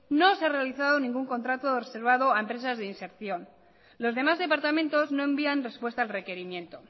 no se ha realizado ningún contrato reservado a empresas de inserción los demás departamentos no envían respuesta al requerimiento